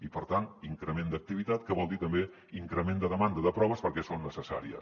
i per tant increment d’activitat que vol dir també increment de demanda de proves perquè són necessàries